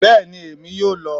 bẹẹni Emi yọọ lọ